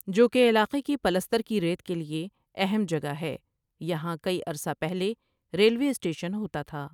جو کہ علاقے کی پلستر کی ریت کیلئے اہم جگہ ہے یہاں کئی عرصہ پہلے ریلوے اسٹیشن ہوتا تھا ۔